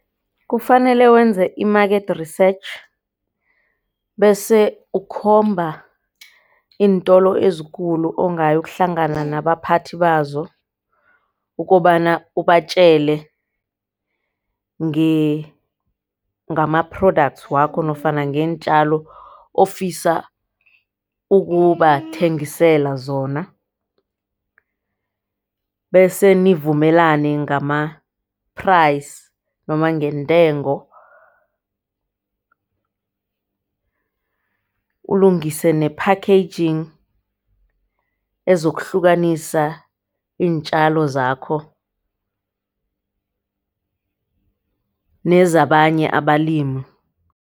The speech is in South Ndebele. Kufanele wenze i-market research bese ukhomba iintolo ezikulu ongayokuhlangana nabaphathi bazo. Ukobana ubatjele ngama-product wakho nofana ngeentjalo ofisa ukubathengisela zona bese nivumelane ngama-price noma ngentengo. Ulungise ne-packaging ezokuhlukanisa iintjalo zakho nezabanye abalimi